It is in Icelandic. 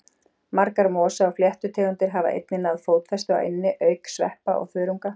Margar mosa- og fléttutegundir hafa einnig náð fótfestu á eynni, auk sveppa og þörunga.